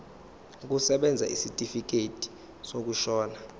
kusebenza isitifikedi sokushona